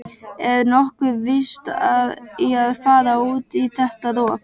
Er nokkuð vit í að fara út í þetta rok?